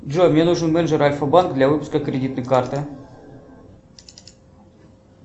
джой мне нужен менеджер альфа банка для выпуска кредитной карты